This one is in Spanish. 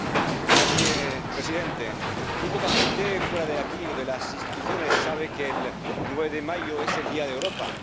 Señor presidente, muy poca gente fuera de aquí o de las instituciones sabe que el 9 de mayo es el Día de Europa.